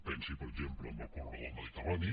pensi per exemple en el corredor mediterrani